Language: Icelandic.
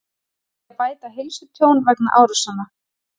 Vilja bæta heilsutjón vegna árásanna